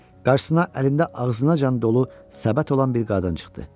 Qarşısına əlində ağzınacan dolu səbət olan bir qadın çıxdı.